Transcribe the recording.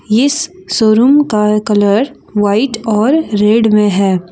इस शोरूम का colour white और रेड है।